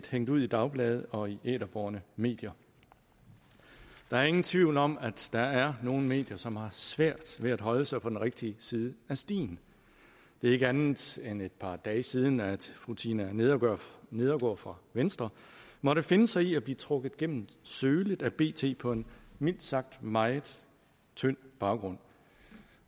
hængt ud af dagblade og i æterbårne medier der er ingen tvivl om at der er nogle medier som har svært ved at holde sig på den rigtige side af stien det er ikke andet end et par dage siden at fru tina nedergaard nedergaard fra venstre måtte finde sig i at blive trukket gennem sølet af bt på en mildt sagt meget tynd baggrund